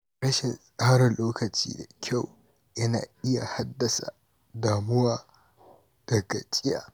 Rashin tsara lokaci da kyau yana iya haddasa damuwa da gajiya.